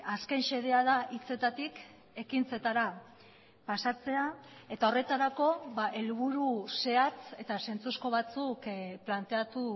azken xedea da hitzetatik ekintzetara pasatzea eta horretarako helburu zehatz eta zentzuzko batzuk planteatu